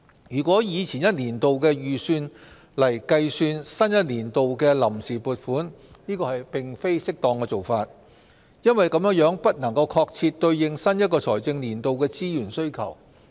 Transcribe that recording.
如果以前一年度的預算來計算新一年度的臨時撥款，這並非適當的做法，因為這樣不能確切對應新一財政年度的資源需求。